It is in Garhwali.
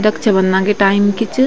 रक्षाबंधन की टाईम की च।